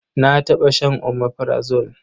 Na taɓa shan omeprazole.